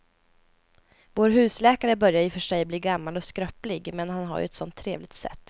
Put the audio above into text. Vår husläkare börjar i och för sig bli gammal och skröplig, men han har ju ett sådant trevligt sätt!